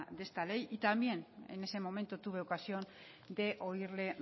de esta ley y también en ese momento tuve ocasión de oírle